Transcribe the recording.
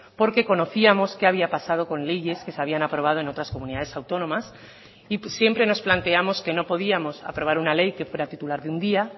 porque conocíamos qué había pasado con leyes que se habían aprobado en otras comunidades autónomas y siempre nos planteamos que no podíamos aprobar una ley que fuera titular de un día